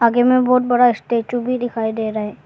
आगे में बहोत बड़ा स्टेचू भी दिखाई दे रहा है।